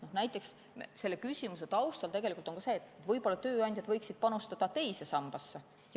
Näiteks on siin taustal ka see küsimus, et võib-olla tööandjad võiksid panustada teise sambasse.